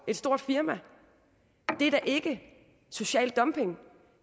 stort firma er da ikke social dumping